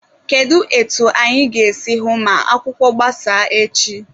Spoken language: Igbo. Kedụ etu anyị ga-esi hụ ma akwụkwọ gbasaa echi?